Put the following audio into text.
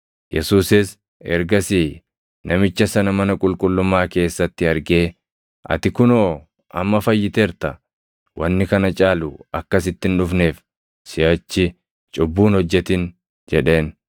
Yesuusis ergasii namicha sana mana qulqullummaa keessatti argee, “Ati kunoo amma fayyiteerta. Wanni kana caalu akka sitti hin dhufneef siʼachi cubbuu hin hojjetin” jedheen.